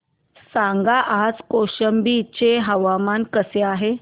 सांगा आज कौशंबी चे हवामान कसे आहे